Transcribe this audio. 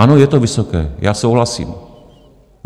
Ano, je to vysoké, já souhlasím.